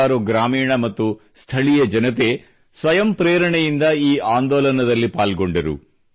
ಸಾವಿರಾರು ಗ್ರಾಮೀಣ ಮತ್ತು ಸ್ಥಳೀಯ ಜನತೆ ಸ್ವಯಂ ಪ್ರೇರಣೆಯಿಂದ ಈ ಆಂದೋಲನದಲ್ಲಿ ಪಾಲ್ಗೊಂಡರು